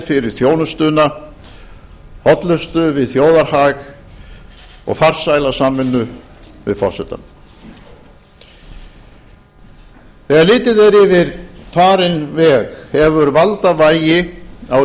fyrir þjónustuna hollustu við þjóðarhag og farsæla samvinnu við forsetann þegar litið er yfir farinn veg hefur valdavægi á